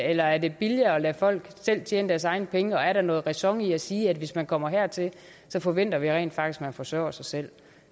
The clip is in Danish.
eller er det billigere at lade folk selv tjene deres egne penge og er der noget ræson i at sige at hvis man kommer hertil forventer vi rent faktisk at man forsørger sig selv